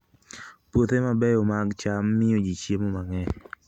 Puothe mabeyo mag cham miyo ji chiemo mang'eny.